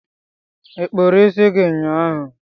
ịkpuru isi gị ụnyaahụ?